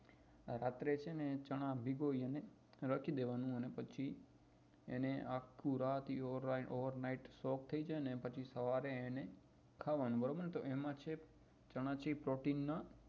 રાત્રે ચાના ભીગોલીને રાખી દેવા નું અને પછી આખું રાત over night થઇ જાય પછી સવારે એને ખાવાનું તો એ ચના છે એ પ્રોટીન નું